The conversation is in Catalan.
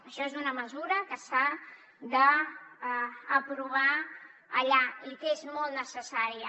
això és una mesura que s’ha d’aprovar allà i que és molt necessària